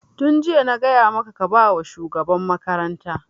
Tun jiya na gaya maka ka ba wa shugaban makaranta!